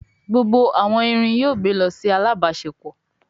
Gbógbó àwon ìrìn yóò gbé ló sì alábáṣepọ